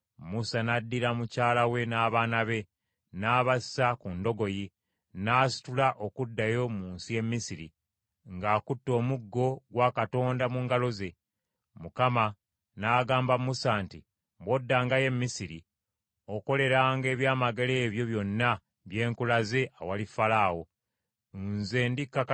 Mukama n’agamba Musa nti, “Bw’oddangayo e Misiri, okoleranga ebyamagero ebyo byonna bye nkulaze, awali Falaawo. Nze ndikakanyaza omutima gwe, abantu bange aleme okubakkiriza okugenda.